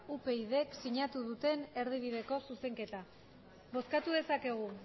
upydk sinatu duten erdibideko zuzenketa bozkatu dezakegu